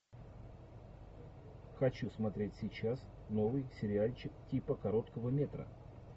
хочу смотреть сейчас новый сериальчик типа короткого метра